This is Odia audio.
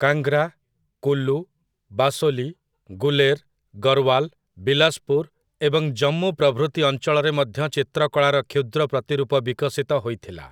କାଙ୍ଗ୍ରା, କୁଲୁ, ବାସୋଲୀ, ଗୁଲେର, ଗରୱାଲ୍‌ , ବିଲାସପୁର୍ ଏବଂ ଜମ୍ମୁ ପ୍ରଭୃତି ଅଞ୍ଚଳରେ ମଧ୍ୟ ଚିତ୍ରକଳାର କ୍ଷୁଦ୍ରପ୍ରତିରୂପ ବିକଶିତ ହୋଇଥିଲା ।